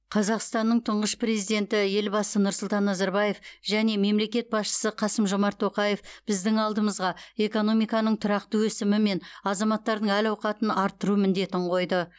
қазақстанның тұңғыш президенті елбасы нұрсұлтан назарбаев және мемлекет басшысы қасым жомарт тоқаев біздің алдымызға экономиканың тұрақты өсімі мен азаматтардың әл ауқатын арттыру міндетін қойды